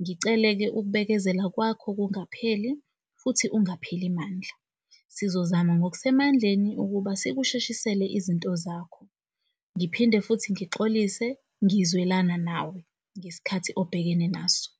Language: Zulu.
Ngicele-ke ukubekezela kwakho kungapheli futhi ungapheli mandla. Sizozama ngokusemandleni ukuba sikusheshisele izinto zakho ngiphinde futhi ngixolise, ngizwelana nawe ngesikhathi obhekene naso.